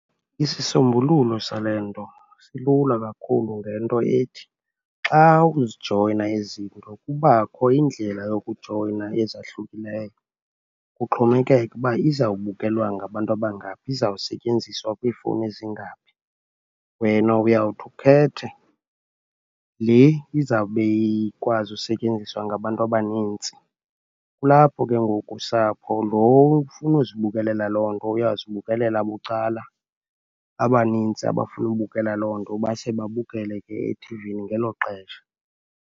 Isisombululo sale nto silula kakhulu ngento ethi, xa uzijoyina ezi zinto kubakho indlela yokujoyina ezahlukileyo, kuxhomekeke uba izawubukelwa ngabantu abangaphi, izawusetyenziswa kwiifowuni ezingaphi. Wena uyawuthi ukhethe le izawube ikwazi usetyenziswa ngabantu abaninzi. Kulapho ke ngoku usapho, loo ufuna uzibukelela loo nto uyawuzibukelela bucala, abaninzi abafuna ubukela loo nto base babukele ke ethivini ngelo xesha.